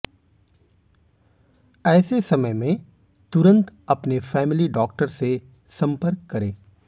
ऐसे समय में तुरंत अपने फैमिली डॉक्टर से संपर्क करें